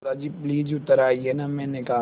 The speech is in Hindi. दादाजी प्लीज़ उतर आइये न मैंने कहा